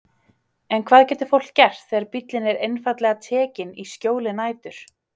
En hvað getur fólk gert þegar bíllinn er einfaldlega tekinn í skjóli nætur?